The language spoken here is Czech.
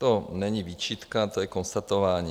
To není výčitka, to je konstatování.